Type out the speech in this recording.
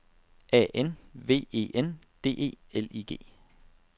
A N V E N D E L I G